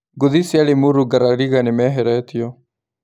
Ngũthi cia Limuru Ngarariga nĩmeheretio.